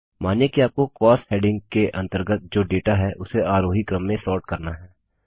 मानिए कि आपको कॉस्ट्स हेडिंग के अंतर्गत जो डेटा है उसे आरोही क्रम में सोर्ट करना है